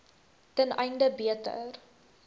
ten einde beter